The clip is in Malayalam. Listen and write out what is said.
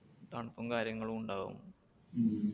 തണുപ്പും കാര്യങ്ങളും ഉണ്ടാകും.